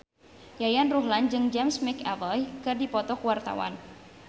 Yayan Ruhlan jeung James McAvoy keur dipoto ku wartawan